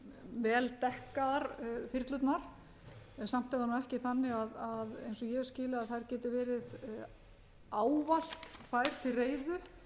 vel dekkaðar þyrlurnar en samt er það ekki þannig eins og ég skil það að ávallt geti verið tvær til reiðu og það